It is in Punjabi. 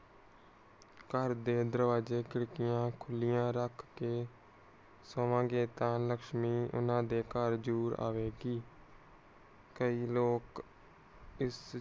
ਘਰ ਦੇ ਦਰਵਾਜੇ ਖਿੜਕੀਆਂ ਖੁਲੀਆਂ ਰੱਖ ਕੇ ਸੋਮਨ ਗੇ ਤਾਂ ਲੱਛਮੀ ਏਨਾ ਦੇ ਘਰ ਜਰੂਰ ਆਵੇਗੀ।